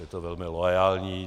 Je to velmi loajální.